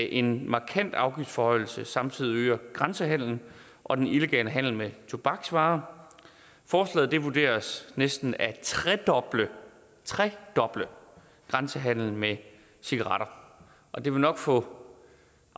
en markant afgiftsforhøjelse samtidig øger grænsehandelen og den illegale handel med tobaksvarer forslaget vurderes næsten at tredoble tredoble grænsehandelen med cigaretter og det vil nok få